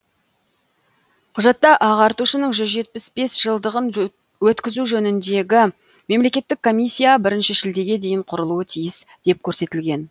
құжатта ағартушының жүз жетпіс бес жылдығын өткізу жөніндегі мемлекеттік комиссия бірінші шілдеге дейін құрылуы тиіс деп көрсетілген